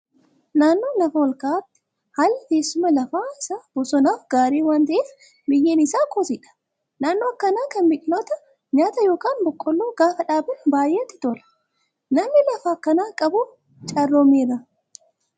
Naannoo lafa ol ka'aatti haalli teessuma lafaa isaa bosonaaf gaarii waan ta'eef, biyyeen isaa kosiidha. Naannoo akkanaa kana biqiloota nyaataa yookaan boqqoolloo gaafa dhaaban baay'ee itti tola. Namni lafa akkanaa qabu carroomeera.